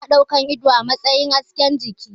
Ana ɗaukan ido a matsayin hasken jiki